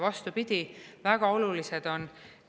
Vastupidi, väga olulised on!